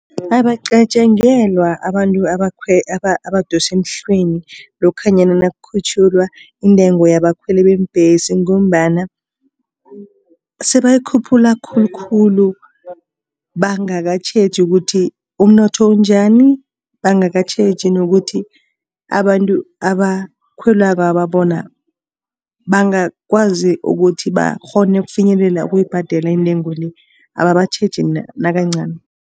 Abacatjangelwa abantu abadosa emhlweni lokhanyana nakukhutjhulwa intengo yabakhweli beembhesi. Ngombana sebayikhuphula khulukhulu. Bangakatjheji ukuthi umnotho unjani. Bangakatjheji nokuthi abantu abakhwelakwaba bona bangakwazi ukuthi bakghone ukufinyelela ukuyibhadela intengo le, ababatjheji nakancani